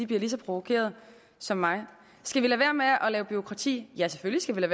bliver lige så provokeret som mig skal vi lade være med at lave bureaukrati ja selvfølgelig